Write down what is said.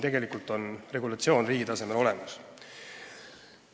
Tegelikult on see regulatsioon riigi tasemel olemas.